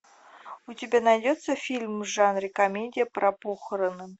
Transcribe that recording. у тебя найдется фильм в жанре комедия про похороны